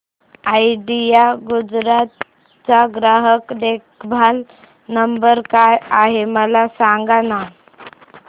idea Gujarat चा ग्राहक देखभाल नंबर काय आहे मला सांगाना